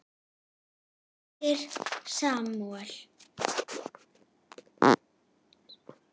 Þín dóttir, Salome.